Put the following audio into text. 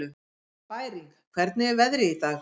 Bæring, hvernig er veðrið í dag?